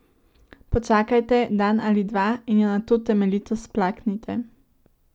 Počakajte dan ali dva in jo nato temeljito splaknite.